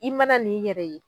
I mana n'i yɛrɛ ye